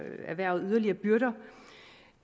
erhvervet yderligere byrder